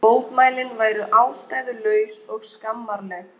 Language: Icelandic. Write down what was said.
Á fremri hlið musterisins voru steintröppur sem lágu upp eftir því öllu.